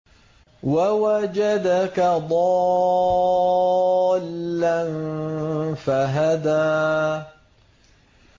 وَوَجَدَكَ ضَالًّا فَهَدَىٰ